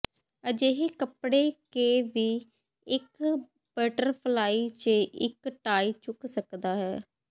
ਅਜਿਹੇ ਕੱਪੜੇ ਕੇ ਵੀ ਇੱਕ ਬਟਰਫਲਾਈ ਜ ਇੱਕ ਟਾਈ ਚੁੱਕ ਸਕਦਾ ਹੈ